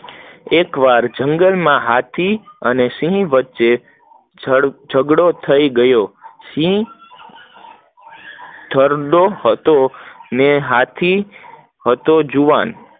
એક વાર જંગલ માં હાથ અને સિંહ વચ્ચે જગડો થયો, સિંહ ઘરડો હતો, અને હાથી જુવાન હતો